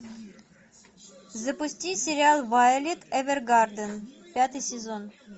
запусти сериал вайолет эвергарден пятый сезон